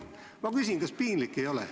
Ma küsin, kas teil piinlik ei ole.